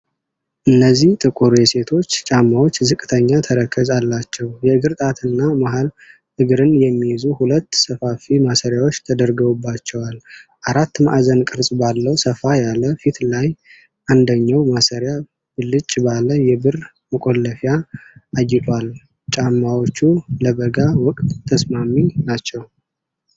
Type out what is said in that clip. እነዚህ ጥቁር የሴቶች ጫማዎች ዝቅተኛ ተረከዝ አላቸው። የእግር ጣትን እና መሃል እግርን የሚይዙ ሁለት ሰፋፊ ማሰሪያዎች ተደርገውባቸዋል። አራት ማዕዘን ቅርጽ ባለው ሰፋ ያለ ፊት ላይ፣ አንደኛው ማሰሪያ ብልጭ ባለ የብር መቆለፊያ አጊጧል። ጫማዎቹ ለበጋ ወቅት ተስማሚ ናቸው።